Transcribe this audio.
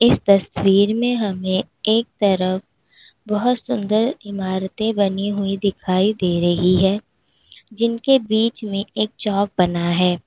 इस तस्वीर में हमें एक तरफ बहुत सुंदर इमारते बनी हुई दिखाई दे रही है जिनके बीच में एक चौक बना है।